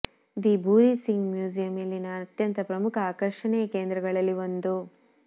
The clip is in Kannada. ದಿ ಭೂರಿ ಸಿಂಗ್ ಮ್ಯೂಸಿಯಂ ಇಲ್ಲಿನ ಅತ್ಯಂತ ಪ್ರಮುಖ ಆಕರ್ಷಣೆಯ ಕೇಂದ್ರಗಳಲ್ಲಿ ಒಂದು